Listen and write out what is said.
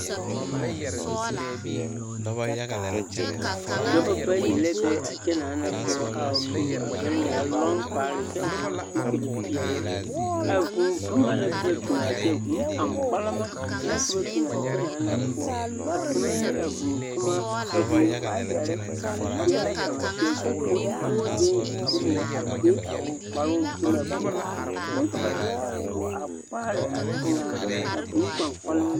Dɔbɔ bayi la be a kyɛnaana poɔ a su a lɔŋ kpare kyɛ vɔgele zupili peɛle a vūū boma la ka ba biŋ a kyɛ vūū kpaŋkpalima la ka ba biŋ a kyɛnaana poɔ a tonɔ ne a vūū toma a vūū waayare a teɛ la kaŋ seɛ kyɛ k'o hama bee bonnyɛ a be a o kparoo gyebɛ poɔ kyɛ ka ba de taaboɔ a kpaare a eŋaa vūū kpaŋkpalima